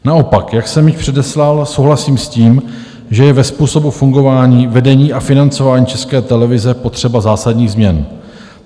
Naopak, jak jsem již předeslal, souhlasím s tím, že je ve způsobu fungování vedení a financování České televize potřeba zásadních změn.